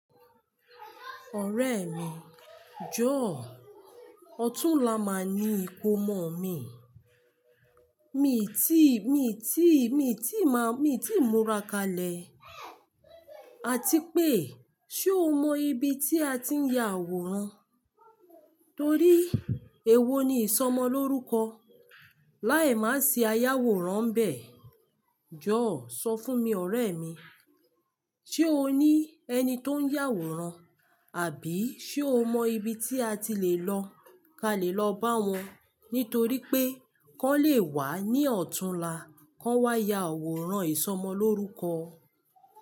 Ọ̀rẹ́ mi, jọ̀ọ́, ọ̀túnla máa ní ìkómọ mi. Mi ti, mi ti, mi ti má, mi ti múra kalẹ̀. Àti pé, ṣe o mọ ibi tí a ti ń ya àwòrán? Torí èwo ni ìsọmọlórúkọ láì má ṣì ayàwòrán ǹbẹ̀? Jọ̀ọ́, sọ fún mi ọ̀rẹ́ mi, ṣe o ní ẹni tó ń yàwòrán, àbí ṣe o mọ ibi tí a ti lè lọ, ká lè lọ bá wọn? Nítorí pé kán lè wá ní ọ̀túnla, kán wá ya àwòrán ìsọmọlórúkọ.